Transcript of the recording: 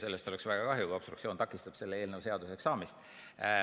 Sellest oleks väga kahju, kui obstruktsioon takistaks selle eelnõu seaduseks saamist.